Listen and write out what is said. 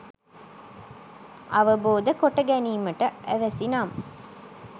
අවබෝධ කොටගැනීමට අවැසි නම්